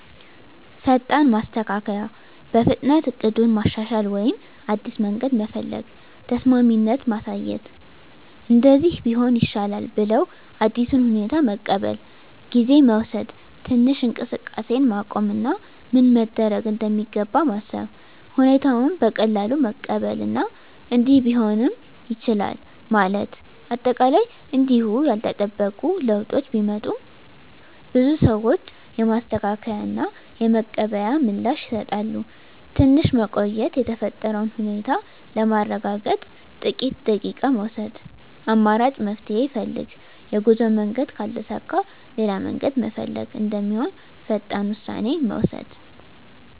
ፈጣን ማስተካከያ – በፍጥነት እቅዱን ማሻሻል ወይም አዲስ መንገድ መፈለግ። ተስማሚነት ማሳየት – “እንደዚህ ቢሆን ይሻላል” ብለው አዲሱን ሁኔታ መቀበል። ጊዜ መውሰድ – ትንሽ እንቅስቃሴን ማቆም እና ምን መደረግ እንደሚገባ ማሰብ። ሁኔታውን በቀላሉ መቀበል እና “እንዲህ ቢሆንም ይቻላል” ማለት። አጠቃላይ እንዲሁ ያልተጠበቁ ለውጦች ቢመጡም፣ ብዙ ሰዎች የማስተካከያ እና የመቀበል ምላሽ ይሰጣሉ። ትንሽ መቆየት – የተፈጠረውን ሁኔታ ለማረጋገጥ ጥቂት ደቂቃ መውሰድ። አማራጭ መፍትሄ ፈልግ – የጉዞ መንገድ ካልተሳካ ሌላ መንገድ መፈለግ እንደሚሆን ፈጣን ውሳኔ መውሰድ።